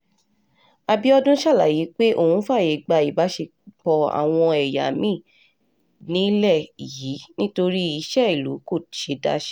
àbíọdún ṣàlàyé pé òun fààyè gba ìbásepọ̀ àwọn ẹ̀yà mi-ín nílẹ̀ yìí nítorí iṣẹ́ ìlú kò ṣeé dá ṣe